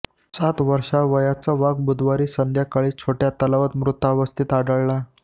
सात वर्ष वयाचा वाघ बुधवारी संध्याकाळी छोट्या तलावात मृतावस्थेत आढळला